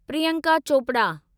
Priyanka Chopra